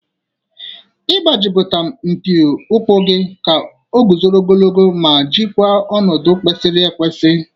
Ị gbatịpụ mpi ukwu gị ka o guzoro ogologo ma jikwaa ọnọdụ kwesịrị ekwesị.